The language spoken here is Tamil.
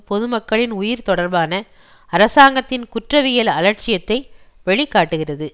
பொதுமக்களின் உயிர் தொடர்பான அரசாங்கத்தின் குற்றவியல் அலட்சியத்தை வெளி காட்டுகிறது